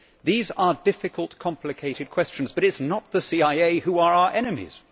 These are difficult, complicated questions, but it is not the CIA who are our enemies.